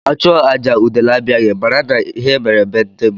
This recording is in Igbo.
A chụọ àjà udele abịaghị, mara n'ihe mere be ndị mmụọ.